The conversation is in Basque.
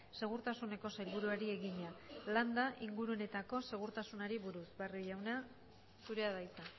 segurtasuneko sailburuari egina landa inguruneetako segurtasunari buruz barrio jauna zurea da hitza